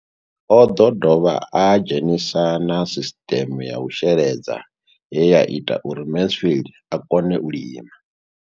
O ḓo dovha a dzhenisa na sisiṱeme ya u sheledza ye ya ita uri Mansfied a kone u lima.